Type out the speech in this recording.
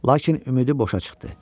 Lakin ümidi boşa çıxdı.